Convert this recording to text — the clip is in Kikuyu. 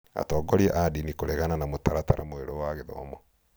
Atongoria a ndinĩ kũregana na mũtaratara mwerũ wa gĩthomo